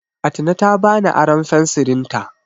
Atine ta bani aron fensirinta.